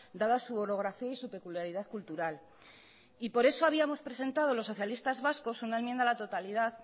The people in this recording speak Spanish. dada su holografía y su peculiaridad cultural por eso los socialistas vascos habíamos presentado una enmienda a la totalidad